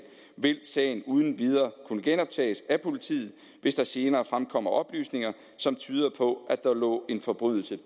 vil sagen uden videre kunne genoptages af politiet hvis der senere fremkommer oplysninger som tyder på at der lå en forbrydelse